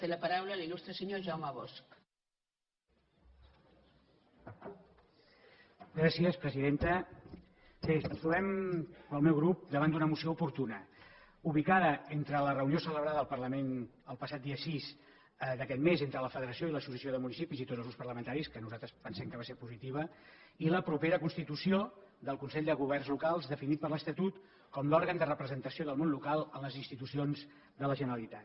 bé ens trobem pel meu grup davant d’una moció oportuna ubicada entre la reunió celebrada al parlament el passat dia sis d’aquest mes entre la federació i l’associació de municipis i tots els grups parlamentaris que nosaltres pensem que va ser positiva i la propera constitució del consell de governs locals definit per l’estatut com l’òrgan de representació del món local en les institucions de la generalitat